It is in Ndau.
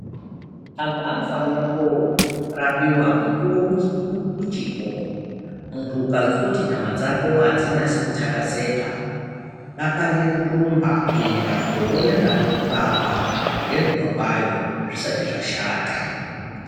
Anthu anofanira kurapiwa mukuwo uchipo munthu ukazwa kuti nyama dzako adzinyase kutakazeka dakarire kurumba kuende kunoona vanokurapa ngenguwa kwayo zvisati zvashata.